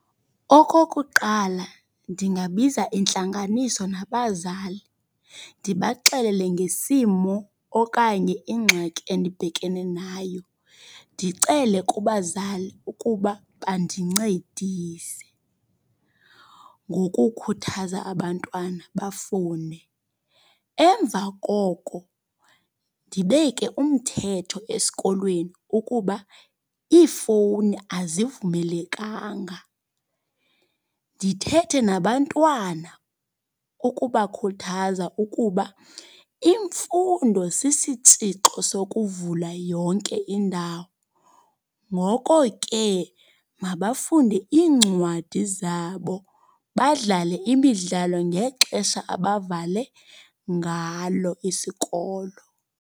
Okokuqala, ndingabiza intlanganiso nabazali, ndibaxelele ngesimo okanye ingxaki endibhekene nayo. Ndicele kubazali ukuba bandincedise ngokukhuthaza abantwana bafune. Emva koko, ndibeke umthetho esikolweni ukuba iifowuni azivumelekanga. Ndithethe nabantwana ukubakhuthaza ukuba imfundo sisitsixo sokuvula yonke indawo. Ngoko ke, mabafunde iincwadi zabo, badlale imidlalo ngexesha abavale ngalo isikolo.